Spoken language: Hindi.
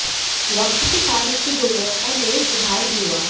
वक्त के साथ इसकी गुणवत्ता में सुधार भी हुआ